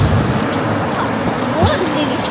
Vor, voruð þið í því?